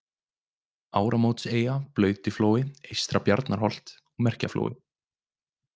Ármótseyja, Blautiflói, Eystra-Bjarnarholt, Merkjaflói